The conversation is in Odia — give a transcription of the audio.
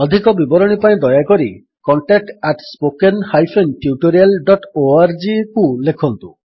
ଅଧିକ ବିବରଣୀ ପାଇଁ ଦୟାକରି contact at spoken hyphen tutorial dot O R G contactspoken tutorialଓଆରଜିକୁ ଲେଖନ୍ତୁ